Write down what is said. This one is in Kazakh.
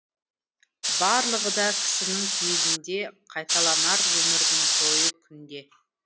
барлығы да кісінің пейілінде қайталанар өмірдің тойы күнде